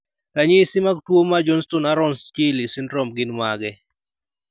Ranyisi mag tuwo mar Johnston Aarons Schelley syndrome gin mage?